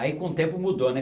Aí com o tempo mudou, né?